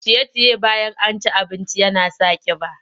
Ciye-ciye bayan an ci abinci yana sa ƙiba.